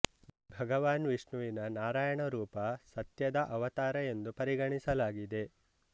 ಭಗವಾನ್ ವಿಷ್ಣುವಿನ ನಾರಾಯಣ ರೂಪ ಸತ್ಯದ ಅವತಾರ ಎಂದು ಪರಿಗಣಿಸಲಾಗಿದೆ